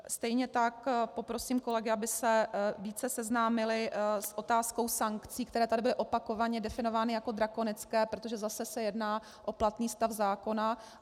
Stejně tak poprosím kolegy, aby se více seznámili s otázkou sankcí, které tady byly opakovaně definovány jako drakonické, protože zase se jedná o platný stav zákona.